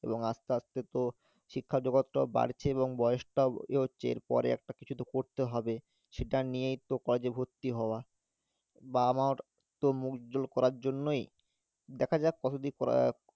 এবং আস্তে আস্তে তো শিক্ষা জগৎটাও বাড়ছে এবং বয়স টাও এগোচ্ছে এর পরে একটা কিছু তো করতে হবে সেটা নিয়েই তো college এ ভর্তি হওয়া বাবা মার্ তো মুখ উজ্জ্বল করার জন্যই দ্যাখা যাক কতদূর করা~